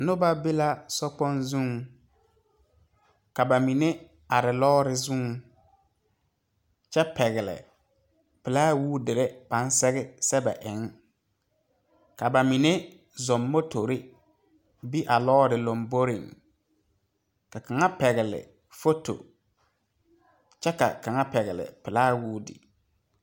Nobɔ be la sokpoŋ zuŋ ka ba mine are lɔɔre zuŋ kyɛ pɛgle pilaawootere ba sɛge sɛge sɛbɛ eŋ ka ba mine zɔŋ motore be a lɔɔre lomboreŋ ka kaŋa pɛgle foto kyɛ ka kaŋa pɛgle pilaawoote.